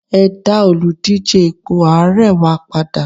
e da Oludije ipo ààrẹ wa pada